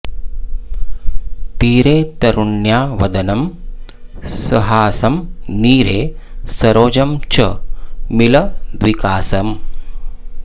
तीरे तरुण्या वदनं सहासं नीरे सरोजं च मिलद्विकासम्